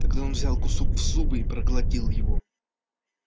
тогда он взял кусок в зубы и проглотил его